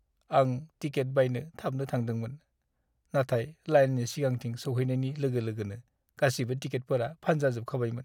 आं टिकेट बायनो थाबनो थांदोंमोन, नाथाय लाइननि सिगांथिं सौहैनायनि लोगो-लोगोनो गासिबो टिकेटफोरा फानजाजोबखाबायमोन।